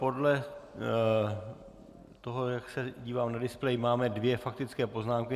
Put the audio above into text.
Podle toho, jak se divám na displej, máme dvě faktické poznámky.